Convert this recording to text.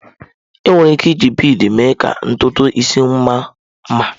Enwere ike iji bịdị mee ka ntụntụ isi mma nma.